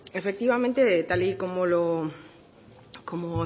efectivamente tal y como